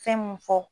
Fɛn mun fɔ